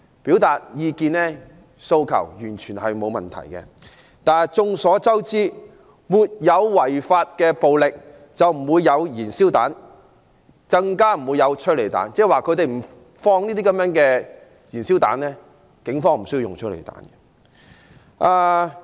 表達意見和訴求，完全不是問題，但眾所周知，沒有違法的暴力就不會有燃燒彈，更不會有催淚煙，即如果示威人士不投擲燃燒彈，警方就無須使用催淚彈。